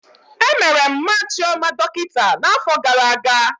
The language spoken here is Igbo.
Emere Mma Chioma dọkịta na afọ gara aga